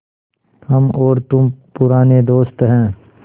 हम और तुम पुराने दोस्त हैं